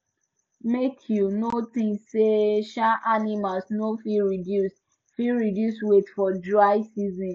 make you no think sey um animals no fit reduce fit reduce weight for dry season